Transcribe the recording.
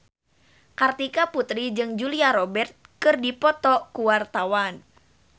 Kartika Putri jeung Julia Robert keur dipoto ku wartawan